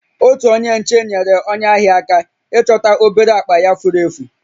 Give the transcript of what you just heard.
Otu onye nche nyeere onye ahịa aka ịchọta obere akpa ya furu efu